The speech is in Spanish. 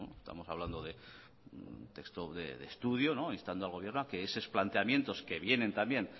estamos hablando de un texto de estudio instando al gobierno a que esos planteamientos que vienen también